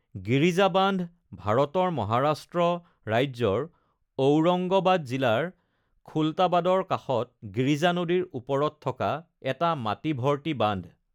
গিৰিজা বান্ধ ভাৰতৰ মহাৰাষ্ট্ৰ ৰাজ্যৰ ঔৰংগাবাদ জিলাৰ খুলতাবাদৰ কাষত গিৰিজা নদীৰ ওপৰত থকা এটা মাটি ভৰ্তি বান্ধ।